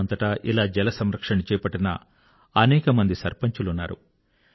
దేశమంతటా ఇలా జలసంరక్షణ చేపట్టిన అనేక సర్పంచులున్నారు